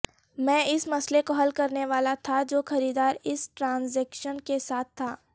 میں اس مسئلے کو حل کرنے والا تھا جو خریدار اس ٹرانزیکشن کے ساتھ تھا